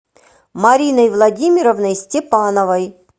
мариной владимировной степановой